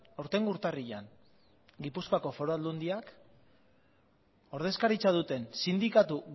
aurtengo urtarrilean gipuzkoako foru aldundiak ordezkaritza duten sindikatu